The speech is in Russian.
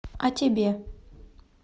а тебе